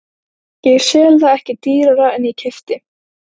Ég sel það ekki dýrara en ég keypti.